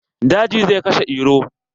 Daji zai kashe Iro.